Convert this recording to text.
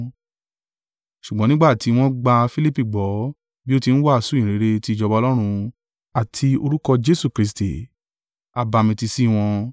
Ṣùgbọ́n nígbà tí wọ́n gba Filipi gbọ́ bí ó ti ń wàásù ìyìnrere ti ìjọba Ọlọ́run, àti orúkọ Jesu Kristi, a bamitiisi wọn.